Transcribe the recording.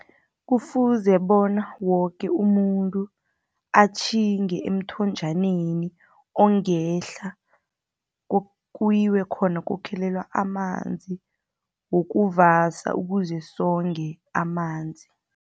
Kufuze bona woke umuntu atjhinge emthonjaneni, ongehla kuyiwe khona kokhelelwa amanzi wokuvasa, ukuze songe amanzi.